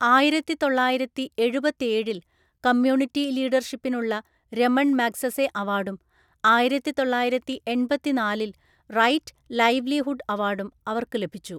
ആയിരത്തിതൊള്ളായിരത്തിഎഴുപത്തേഴില്‍ community ലീഡർഷിപ്പിനുള്ള Raman Magsaysay അവാർഡും ആയിരത്തിതൊള്ളായിരത്തിഎണ്‍പത്തിനാലില്‍ റൈറ്റ് ലൈവ്‌ലിഹുഡ് അവാർഡും അവർക്ക് ലഭിച്ചു.